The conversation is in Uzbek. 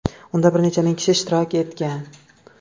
Unda bir necha ming kishi ishtirok etgan.